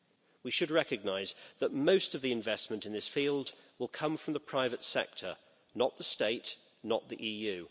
We should recognise that most of the investment in this field will come from the private sector, not the state or the EU.